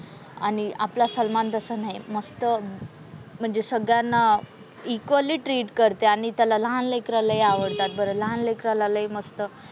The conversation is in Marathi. आणि आपला सलमान तसा नाही. मस्त म्हणजे सगळ्यांना इक्वली ट्रीट करते आणि त्याला लहान लेकरं लय आवडतात बरं. लहान लेकराला लय मस्त,